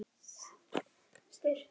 Vantaði biblíu til að gefa.